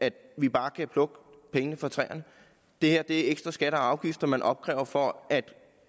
at vi bare kan plukke pengene fra træerne det her er ekstra skatter og afgifter man opkræver for at